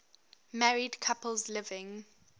married couples living